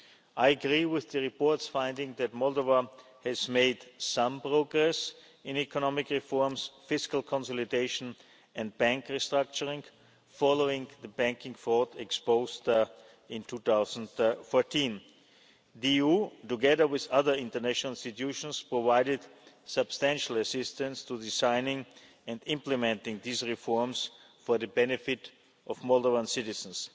I agree with the report's finding that Moldova has made some progress in economic reforms, fiscal consolidation and bank restructuring following the banking fraud exposed in 2014. The EU, together with other international institutions, provided substantial assistance to the signing and implementing of these reforms for the benefit of Moldovan